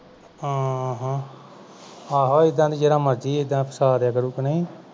ਹਾਂ ਹਾਂ ਆਹੋ ਏਦਾਂ ਜਿਹੜਾ ਮਰਜ਼ੀ ਏਦਾਂ ਫਸਾ ਦੇ ਆ ਕਾਰੂ ਕੇ ਨਹੀ